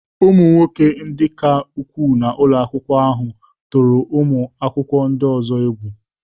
Ụmụ nwoke ndị ka ukwuu nọ n'ụlọ akwụkwọ ahụ tụrụ ụmụ akwụkwọ ndị ọzọ egwu.